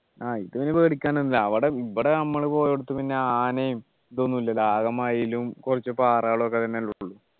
ആഹ് ഇത് പേടിക്കാൻ ഒന്നുമില്ല അവിടെ ഇവിടെ നമ്മൾ പോയോടുത്തു പിന്നെ ആനയും ഇതൊന്നും ഇല്ലല്ലോ ആകെ മയിലും കുറച്ചു പാറകളും ഒക്കെ ന്നല്ലേ ഉള്ളൂ